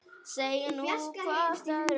Segið nú hvort öðru frá.